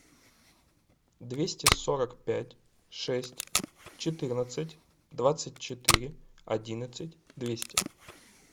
двести сорок пять шесть четырнадцать двадцать четыре одиннадцать двести